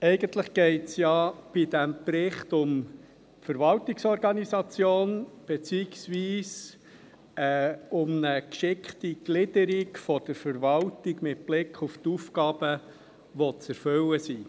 Eigentlich geht es ja bei diesem Bericht um die Verwaltungsorganisation, beziehungsweise um eine geschickte Gliederung der Verwaltung mit Blick auf die Aufgaben, die zu erfüllen sind.